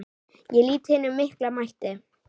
Ég lýt hinum mikla mætti.